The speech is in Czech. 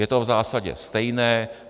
Je to v zásadě stejné.